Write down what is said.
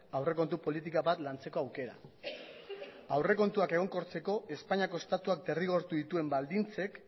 aurrekontu politika bat lantzeko aukera aurrekontuak egonkortzeko espainiako estatuak derrigortu dituen baldintzek